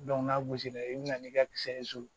n'a gosili i bɛ na n'i ka kisɛ ye so